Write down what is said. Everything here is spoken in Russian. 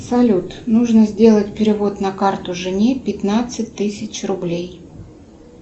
салют нужно сделать перевод на карту жене пятнадцать тысяч рублей